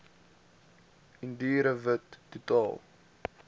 indiër wit totaal